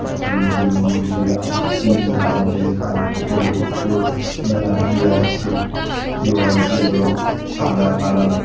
দুইজন মহিলা পিংক কালারের কার্পেটের ওপর দাঁড়িয়ে আছে দেওয়ালটির রঙ সাদা কালার ।